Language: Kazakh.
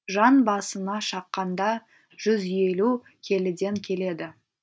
жан басына шаққанда жүз елу келіден келеді